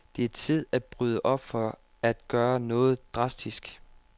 Det er tid at bryde op for at gøre noget drastisk.